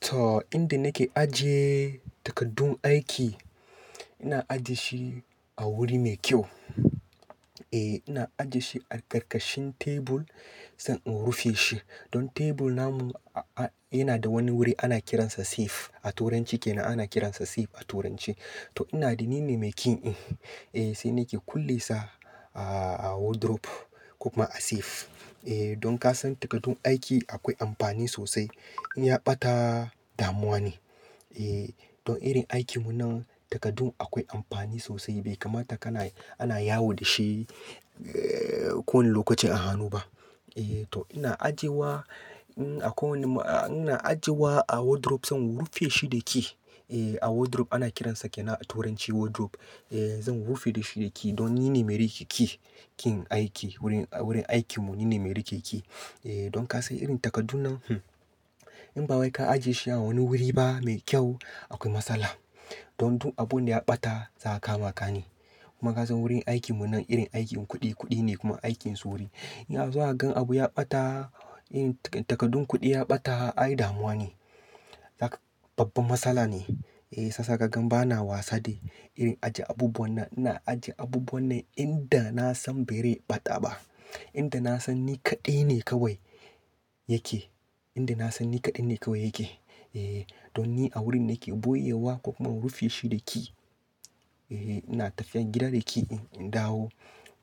To, inda nake ajiye takardun aiki, ina ajiye shi a wuri mai kyau. Eh, ina ajiye shi a ƙarƙashin tebur, zan rufe shi. Don tebur na mu yana da wani wuri ana kiransa safe, a turanci kenan ana kiransa safe a turanci. To, ina ni ne mai ƙin in. Eh, sai nake kulle sa a wardrobe, ko kuma a safe. Eh, don ka san takardun aiki akwai amfani sosai, in ya ɓata damuwa ne. Eh, don irin aikin mu nan takardun akwai amfani sosai, bai kamata kana, ana yawo da shi eh, kowani lokacin a hannu ba. Eh, to ina ajiyewa, in akwai wani, ina ajiyewa a wardrobe zan rufe shi da key. E, a wardrobe ana kiransa kenan a turanci wardrobe. Eh, zan rufe da shi da key don ni ne mai riƙe key. Key aiki, wurin, wurin aikin mu ni ne mai riƙe key. Eh, don ka san irin takaddun nan, in ba wai ka ajiye shi a wani wuri ba mai kyau, akwai matsala. Don duk abun da ya ɓata, za'a kama ka ne. Kuma ka san wurin aikin mun nan, irin aikin kuɗi-kuɗi ne, kuma aikin sauri. In a zo a gan abu ya ɓata, takaddun kuɗi ya ɓata, ai damuwa ne. Babban matsala ne. Eh, shiyasa ka gan ba na wasa da irin ajiye abubuwan nan. Ina ajiye abubuwan nan inda na san ba rai ɓata ba. Inda na san ni kaɗai ne kawai yake. Inda na san ni kaɗai ne kawai yake. Eh, don ni a wurin nake ɓoyewa, ko kuma in rufe shi da key. Eh, ina tafiyan gida da key din, in dawo